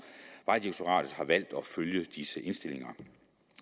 vejdirektoratet har valgt at følge disse indstillinger